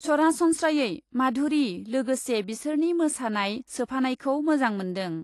सरासन्त्रायै माधुरि लोगोसे बिसोरनि मोसानाय सोफानायखौ मोजां मोन्दों ।